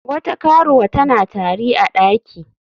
Wata karuwa tana tari a daki.